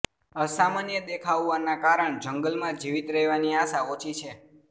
અસમાન્ય દેખાવવાના કારણ જંગલમાં જીવિત રહેવાની આશા ઓછી છે